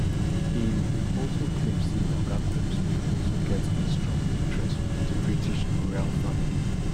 im im also claim say oga combs bin also get a strong interest wit di british royal family